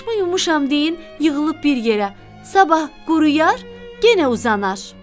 Başımı yumuşam deyin yığılıb bir yerə, sabah quruyar, yenə uzanar.